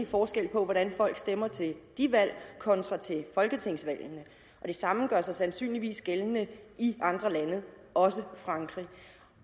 forskel på hvordan folk stemmer til de valg kontra til folketingsvalgene og det samme gør sig sandsynligvis gældende i andre lande også i frankrig